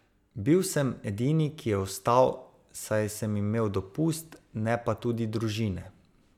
Bil sem edini, ki je ostal, saj sem imel dopust, ne pa tudi družine.